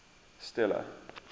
stella